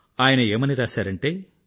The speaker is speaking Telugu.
ఆయన ఏమని రాశారంటే